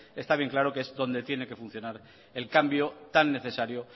está claro que es donde tiene que funcionar el cambio tan necesario